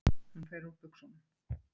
Hún fer úr buxunum.